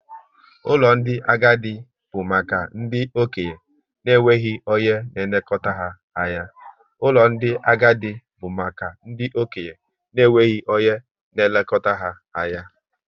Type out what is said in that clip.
Ụlọ ndị agadi bụ maka ndị okenye na enweghị onye na elekọta ha anya